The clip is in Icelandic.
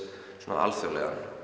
alþjóðlegan